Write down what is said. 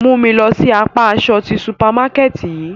Mu mi lọ si apa aṣọ ti supamakẹti yii!